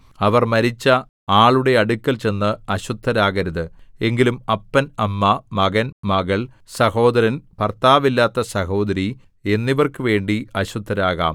അവർ മരിച്ച ആളുടെ അടുക്കൽ ചെന്ന് അശുദ്ധരാകരുത് എങ്കിലും അപ്പൻ അമ്മ മകൻ മകൾ സഹോദരൻ ഭർത്താവില്ലാത്ത സഹോദരി എന്നിവർക്കുവേണ്ടി അശുദ്ധരാകാം